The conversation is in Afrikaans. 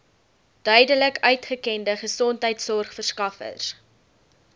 duidelik uitgekende gesondheidsorgverskaffers